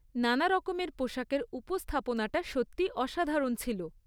নানারকমের পোশাকের উপস্থাপনাটা সত্যিই অসাধারণ ছিল।